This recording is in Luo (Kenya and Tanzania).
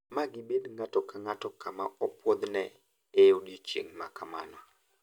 Ma gibed ng`ato kang`ato kama opuodhne e odiechieng` makamano.